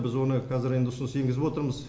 біз оны қазір енді ұсыныс енгізіп отырмыз